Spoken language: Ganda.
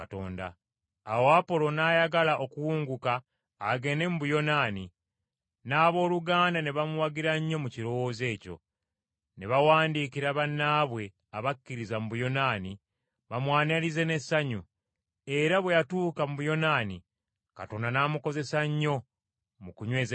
Awo Apolo n’ayagala okuwunguka agende mu Akaya mu Buyonaani, n’abooluganda ne bamuwagira nnyo mu kirowoozo ekyo. Ne bawandiikira bannaabwe abakkiriza mu Buyonaani bamwanirize n’essanyu. Era bwe yatuuka mu Buyonaani, Katonda n’amukozesa nnyo mu kunyweza Ekkanisa,